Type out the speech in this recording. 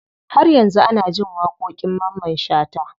Har yanzu ana jin waƙoƙin mamman shata.